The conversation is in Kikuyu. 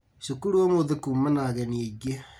Cukuru ũmũthĩ kuma na ageni aingĩ